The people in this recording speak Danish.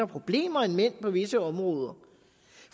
problemer end mænd på visse områder